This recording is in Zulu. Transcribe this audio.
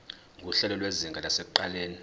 nguhlelo lwezinga lasekuqaleni